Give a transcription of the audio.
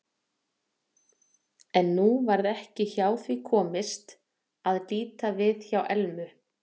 En nú varð ekki hjá því komist að líta við hjá Elmu.